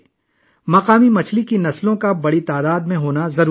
مقامی مچھلیوں کی بڑی تعداد کا ہونا ضروری ہے